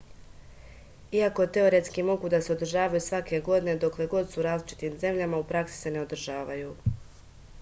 иако теоретски могу да се одржавају сваке године докле год су у различитим земљама у пракси се не одржавају